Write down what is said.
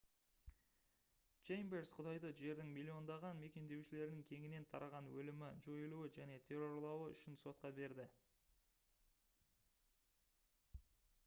чеймберс құдайды «жердің миллиондаған мекендеушілерінің кеңінен тараған өлімі жойылуы және террорлауы үшін» сотқа берді